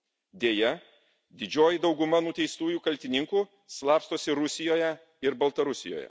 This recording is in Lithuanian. Deja, didžioji dauguma nuteistų kaltininkų slapstosi Rusijoje ir Baltarusijoje.